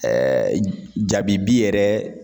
jabibi yɛrɛ